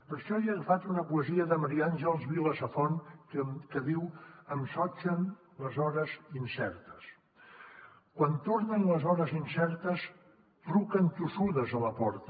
per això jo he agafat una poesia de maria àngels vila safont que diu em sotgen les hores incertes quan tornen les hores incertes truquen tossudes a la porta